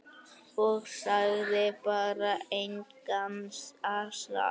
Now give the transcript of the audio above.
Og sagði bara: Engan asa.